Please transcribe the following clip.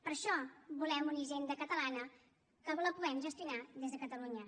per això volem una hisenda catalana que la puguem gestionar des de catalunya